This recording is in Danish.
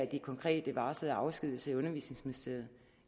de konkret varslede afskedigelser i undervisningsministeriet